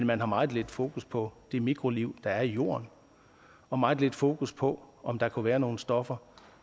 man har meget lidt fokus på det mikroliv der er i jorden og meget lidt fokus på om der kunne være nogle stoffer